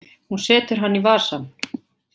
Hún setur hann í vasann.